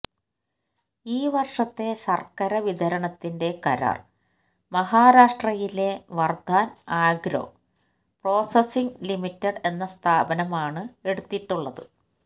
ഈ വർഷത്തെ ശർക്കര വിതരണത്തിന്റെ കരാർ മഹാരാഷ്ട്രയിലെ വർധാൻ ആഗ്രോ പ്രോസസിംഗ് ലിമിറ്റഡ് എന്ന സ്ഥാപനമാണ് എടുത്തിട്ടുള്ളത്